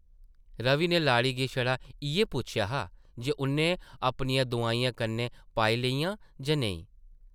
रवि नै लाड़ी गी छड़ा इʼयै पुच्छेआ हा जे उʼन्नै अपनियां दोआइयां कन्नै पाई लेइयां जां नेईं ?